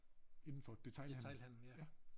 Indenfor detailhandlen ja